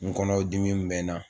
N kɔnɔ dimi bɛ n na.